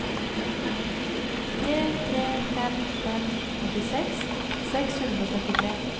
tre tre fem fem åttiseks seks hundre og førtitre